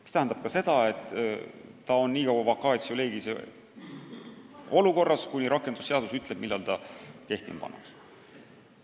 Mis tähendas seda, et ta pidi olema nii kaua vacatio legis'e olukorras, kuni rakendusseadus ütleb, millal ta kehtima pannakse.